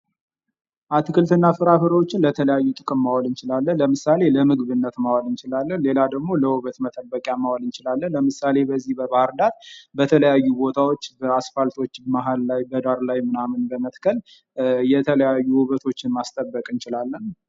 አትክልት እና ፍራፍሬዎችን ለተለያዩ ጥቅም ማዋል እንችላለን:: ለምሳሌ ለምግብነት ማዋል እንችላለን:: ሌላ ደግሞ ለውበት መጠበቂያ ማዋል እንችላለን:: ለምሳሌ በዚህ በባህርዳር በተለያዩ ቦታዎች በአስፓልቶች በዳር ላይ መሃል ላይ ምናምን በመትከል የተለያዩ ዉበቶችን ማስተብውቅ እንችላለን::